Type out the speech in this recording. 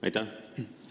Aitäh!